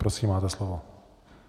Prosím, máte slovo.